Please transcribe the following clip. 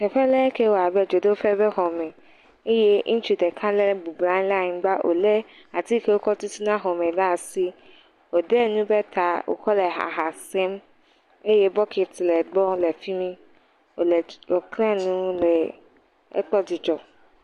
Teƒe le ŋkie le abe dzodoƒe be xɔ me eye ŋutsu ɖeka le bɔbɔ nɔ anyi le anyigba, wolé ati ke wokɔ tutuna xɔ me le asi, woɖɔ nu ɖe ta, wòkɔ le ha hã sem, eye bokiti le gbɔ le fi mi, wòle…